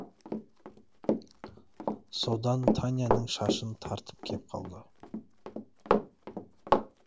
содан таняның шашын тартып кеп қалды